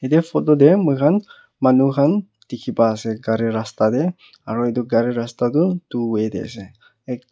ite photo teh muihan manu khan dikhipaiase gari rasta deh aru itu rasta du two way deh ase ekta.